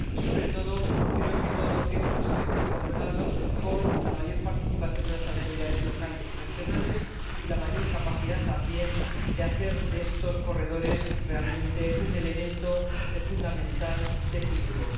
y, sobre todo, creo que hay que destacar todo lo relacionado con la mayor participación de las autoridades locales y regionales y la mayor capacidad, también, para hacer de estos corredores realmente un elemento fundamental de futuro.